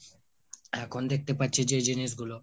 এখন দেখতে পারছি যে জিনিস গুলো